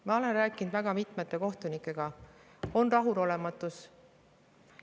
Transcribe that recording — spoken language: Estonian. Ma olen rääkinud väga mitmete kohtunikega – on rahulolematust.